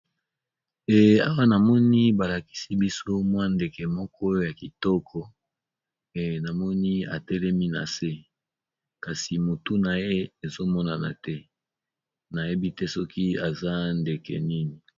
Awa namoni balakisi biso ndeke ya kitoko kasi mutu naye ezo monana te nayebi te soki eza ndeke nini.